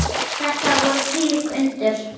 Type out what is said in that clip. Þetta voru þvílík undur.